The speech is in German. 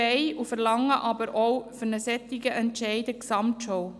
Wir verlangen für einen solchen Entscheid eine Gesamtschau.